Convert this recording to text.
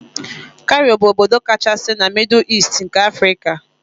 Kairo bụ obodo kachasị na mịdụ Easti nke Afrika